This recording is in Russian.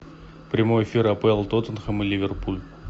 прямой эфир апл тоттенхэм и ливерпуль